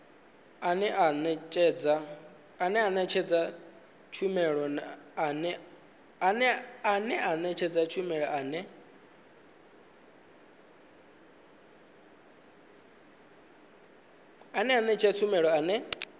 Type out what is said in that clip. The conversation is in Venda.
ane a nekedza tshumelo ane